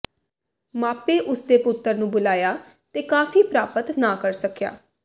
ਮਾਪੇ ਉਸ ਦੇ ਪੁੱਤਰ ਨੂੰ ਬੁਲਾਇਆ ਤੇ ਕਾਫ਼ੀ ਪ੍ਰਾਪਤ ਨਾ ਕਰ ਸਕਿਆ